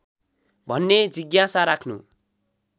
भन्ने जिज्ञासा राख्नु